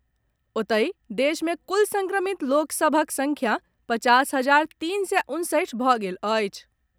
ओतहि देश मे कुल संक्रमित लोक सभक संख्या पचास हजार तीन सय उनसठि भऽ गेल अछि।